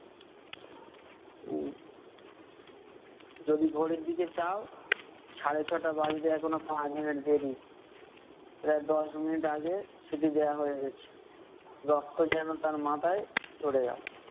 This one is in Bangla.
উহ যদি ঘড়ির দিকে চাও, সাড়ে ছ'টা বাজতে এখনো পাঁচ মিনিট দেরি । প্রায় দশ মিনিট আগে সিটি দেওয়া হয়ে গেছে। রক্ত যেন তার মাথায় চড়ে গেলো।